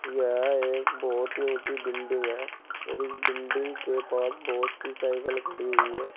यह एक बहुत ही ऊंची बिल्डिंग है और इस बिल्डिंग के पास बहुत सी साइकल खड़ी हुई है।